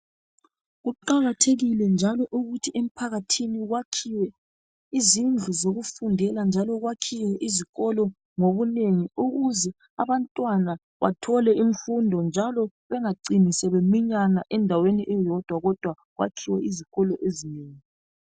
Kuqakathekile njalo ukuthi emphakathini kwakhiwe izindlu zokufundela njalo kwakhiwe izikolo ngobunengi ukuze abantwana bathole imfundo njalo bengacini sebeminyana endaweni eyodwa kodwa kwakhiwe izikolo ezinengi.